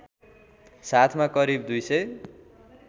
साथमा करिब २००